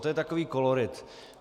To je takový kolorit.